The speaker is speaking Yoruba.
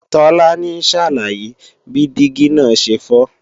Tolani ń ṣàlàyé bí dígí náà ṣe fọ́